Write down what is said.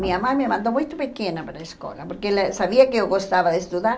Minha mãe me mandou muito pequena para a escola porque ela sabia que eu gostava de estudar.